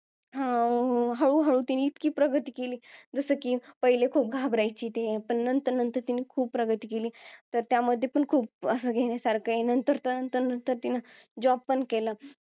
अं हळूहळू ती इतकी प्रगती केली जसे की पहले खूप घाबरायची ती आता तिने खूप प्रगती केली तर त्यामध्ये पण खूप असं घेण्यासारखा आहे नंतर नंतर तर तिन्ही job पण केलं